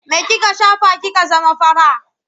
Me kika shafa kika zama fara?